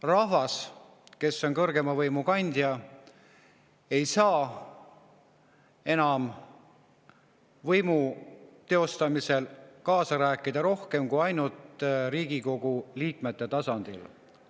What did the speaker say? Rahvas, kes on kõrgeima võimu kandja, ei saa enam võimu teostamisel kaasa rääkida rohkem kui ainult Riigikogu liikmete tasandil.